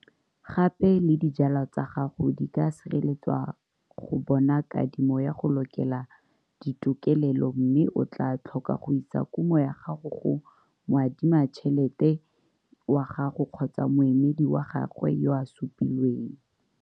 Gape le dijwalwa tsa gago di ka sireletswa go bona kadimo ya go lokela ditokelelo mme o tlaa tlhoka go isa kumo ya gago go moadimatšhelete wa gago kgotsa moemedi wa gagwe yo a supilweng.